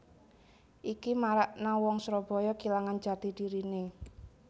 Iki marakna wong Surabaya kilangan jati dirine